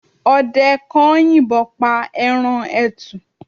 ọdẹ kan yìnbon pa eran etù